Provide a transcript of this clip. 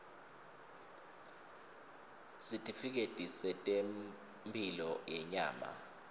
sitifiketi setemphilo yenyama